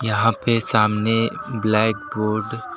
यहां पे सामने ब्लैकबोर्ड --